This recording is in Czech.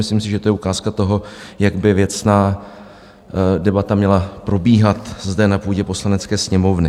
Myslím si, že to je ukázka toho, jak by věcná debata měla probíhat zde na půdě Poslanecké sněmovny.